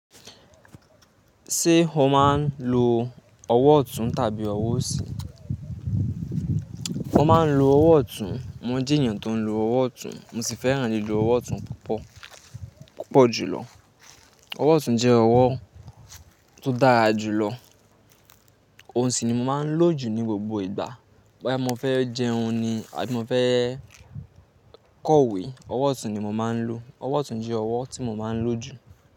Ṣé o máa ń lo ọwọ́ ọ̀tún tàbí ọwọ́ òsì? Mo máa ń lo ọwọ́ ọ̀tún, mo jẹ́ èyàn tó ń lo ọwọ́ ọ̀tún, mo sì fẹ́ràn lílo ọwọ́ ọ̀tún púpọ̀, púpọ̀ jùlọ. Ọwọ́ ọ̀tún jẹ́ ọwọ́ tó dára jùlọ. Ohun sì ni mo máa ń lò jù ní gbogbo ìgbà. Boya mo fẹ́ jẹun ni àbí mo fẹ́ kọ̀wé, ọwọ́ ọ̀tún ni mo máa ń lò. Ọwọ́ ọ̀tún jẹ́ ọwọ́ tí mo máa ń lò jù.